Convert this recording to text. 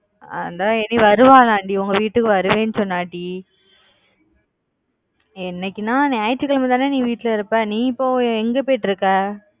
அந்தா இனி வருவானாம் டி உங்க வீட்டுக்கு வருவன் சொன்னான் டி என்னைகுணா ஞாயிற்றுக்கிழமை தானே நீ வீட்ல இருப்ப நீ இப்ப எங்க போயிடு இருக்க